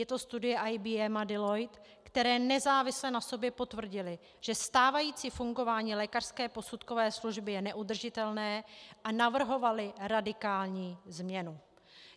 Je to studie IBM a Deloitte, které nezávisle na sobě potvrdily, že stávající fungování lékařské posudkové služby je neudržitelné, a navrhovaly radikální změnu.